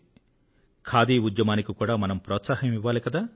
ఖాదీ ఉద్యమానికి కూడా మనం ప్రోత్సాహం ఇవ్వాలి కదా